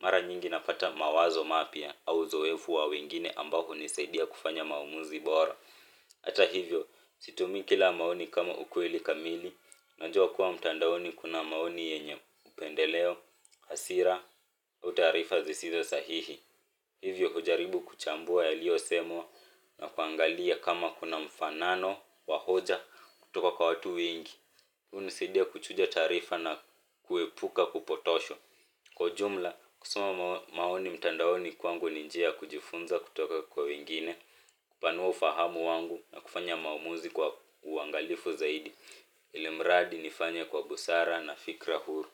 Mara nyingi napata mawazo mapya au uzoefu wa wengine ambao hunisaidia kufanya maamuzi bora. Hata hivyo, situmii kila maoni kama ukweli kamili, najua kuwa mtandaoni kuna maoni yenye upendeleo, hasira, uau taarifa zisizo sahihi. Hivyo hujaribu kuchambua yaliyosemwa na kuangalia kama kuna mfanano wa hoja kutoka kwa watu wengi. Hunisidia kuchuja taarifa na kuepuka kupotoshwa kwa ujumla, kusoma maoni mtandaoni kwangu ni njia ya kujifunza kutoka kwa wengine. Kupanua ufahamu wangu na kufanya maamuzi kwa uangalifu zaidi ilimradi nifanye kwa busara na fikra huru.